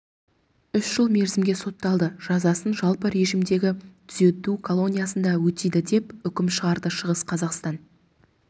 үш жыл мерзімге сотталды жазасын жалпы режимдегі түзету колониясында өтейді деп үкім шығарды шығыс қазақстан